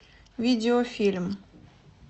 видео фильм